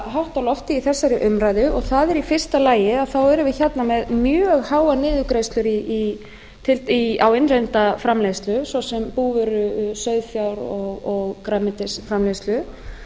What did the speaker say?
hátt á lofti í þessari umræðu og það er í fyrsta lagi að þá erum við hérna með mjög háar niðurgreiðslur á innlenda framleiðslu svo sem búvöru sauðfjár og grænmetisframleiðslu